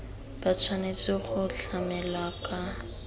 ba tshwanetse go tlamelwa ka